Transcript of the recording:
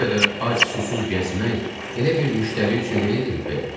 “Bu qədər ac susuz gəzmək elə bir müştəri üçün deyildimi bəyəm?”